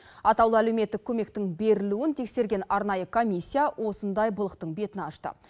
атаулы әлеуметтік көмектің берілуін тексерген арнайы комиссия осындай былықтың бетін ашты